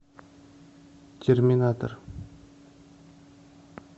терминатор